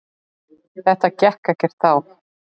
Þetta gekk ekkert þá.